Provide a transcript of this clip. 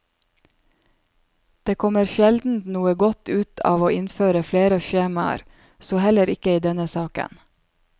Det kommer sjelden noe godt ut av å innføre flere skjemaer, så heller ikke i denne saken.